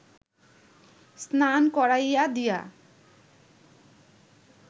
স্নান করাইয়া দিয়া